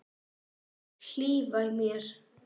Vill hlífa mér.